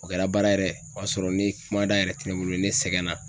O kɛra baara yɛrɛ , o y'a sɔrɔ ne kumada yɛrɛ te ne bolo, ne sɛgɛn na